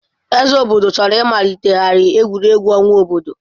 Eze obodo chọrọ ịmalitegharị egwuregwu ọnwa obodo.